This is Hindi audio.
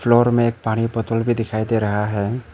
में एक पानी बोतल भी दिखाई दे रहा है।